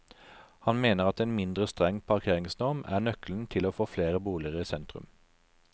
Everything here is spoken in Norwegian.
Han mener at en mindre streng parkeringsnorm er nøkkelen til å få flere boliger i sentrum.